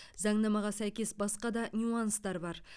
заңнамаға сәйкес басқа да нюанстар бар